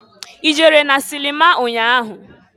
I jere na silima nnya ahụ?